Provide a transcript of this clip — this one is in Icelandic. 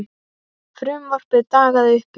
Frumvarpið dagaði uppi.